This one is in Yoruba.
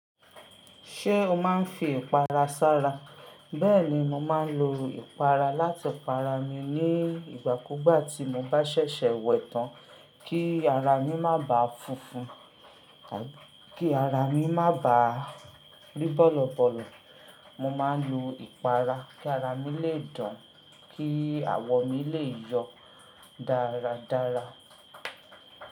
Ṣé o máa ń fi ìpara sára? Bẹ́ẹ̀ni, mo máa ń lo ìpara láti para mi ní ìgbà kúgbà tí mo bá ṣẹ̀ṣẹ̀ wẹ̀ tán kí ara mi má bà fúnfun, kí ara mi má bà rí bọ̀lọ̀ bọ̀lọ̀. Mo máa ń lo ìpara kí ara mi lè dán, kí àwọ̀ mi lè yọ dáradára.